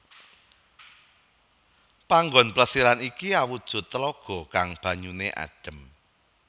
Panggon Plesiran iki awujud telaga kang banyuné adem